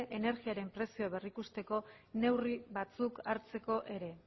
energiaren prezioa berrikuzteko neurri batzuk hartzeko ere